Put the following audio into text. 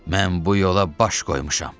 Mən bu yola baş qoymuşam.